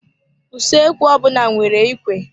Usoekwu ọbụna nwere ikwe.